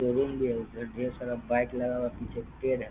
Room भी है ऊपर ढेर सारा बाइक लगा हुआ पीछे पेड़ है।